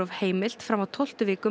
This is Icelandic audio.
heimilt fram á tólftu viku